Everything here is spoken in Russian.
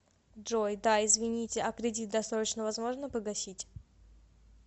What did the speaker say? джой да извините а кредит досрочно возможно погасить